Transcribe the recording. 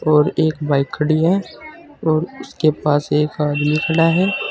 और एक बाइक खड़ी है और उसके पास एक आदमी खड़ा है।